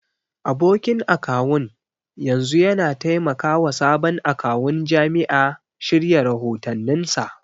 Abokin akawun yanzu yana taimakawa sabon akawun jami'a shirya rahotanninsa.